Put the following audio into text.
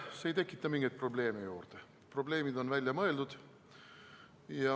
See ei tekita mingeid probleeme juurde, probleemid on välja mõeldud.